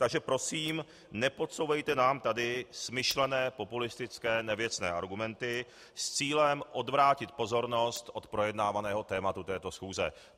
Takže prosím, nepodsouvejte nám tady smyšlené, populistické, nevěcné argumenty s cílem odvrátit pozornost od projednávaného tématu této schůze.